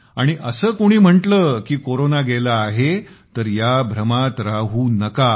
आणि असं कोणी म्हटलं की कोरोना गेला आहे तर या भ्रमात राहू नका